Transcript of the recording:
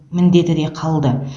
міндеті де қалды